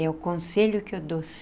É o conselho que eu dou.